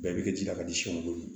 Bɛɛ bɛ kɛ ji la ka di siw ma